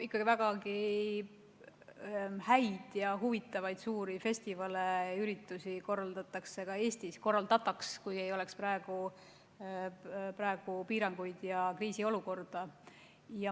No vägagi häid ja huvitavaid suuri festivale ja üritusi korraldatakse ka Eestis – täpsemalt, korraldataks, kui ei oleks praegusi piiranguid ja kriisiolukorda.